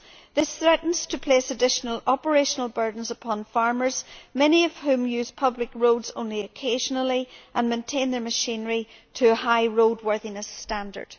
This threatens to place additional operational burdens upon farmers, many of whom use public roads only occasionally and maintain their machinery to a high roadworthiness standard.